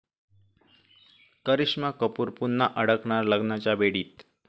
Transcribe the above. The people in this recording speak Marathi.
करिश्मा कपूर पुन्हा अडकणार लग्नाच्या बेडीत